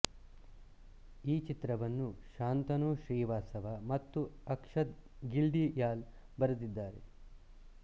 ಈ ಚಿತ್ರವನ್ನು ಶಾಂತನು ಶ್ರೀವಾಸ್ತವ ಮತ್ತು ಅಕ್ಷತ್ ಘಿಲ್ಡಿಯಾಲ್ ಬರೆದಿದ್ದಾರೆ